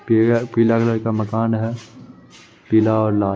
पिअर पीला रंग का मकान है । पीला और लाल --